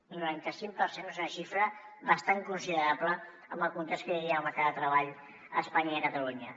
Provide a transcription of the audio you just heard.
el noranta cinc per cent és una xifra bastant considerable en el context que hi havia al mercat de treball a espanya i a catalunya